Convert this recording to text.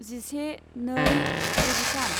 जिसे नै द'जिथाम